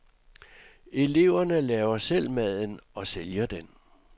Eleverne laver selv maden og sælger den.